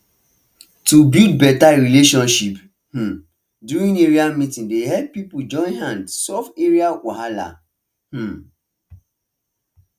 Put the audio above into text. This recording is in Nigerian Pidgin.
to build better relationship um during area meeting dey help people join hand solve area wahala um